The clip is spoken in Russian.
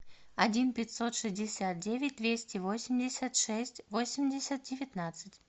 один пятьсот шестьдесят девять двести восемьдесят шесть восемьдесят девятнадцать